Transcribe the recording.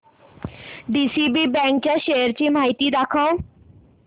DCB bank च्या shares ची माहिती दाखव